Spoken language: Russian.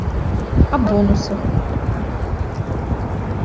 о бонусах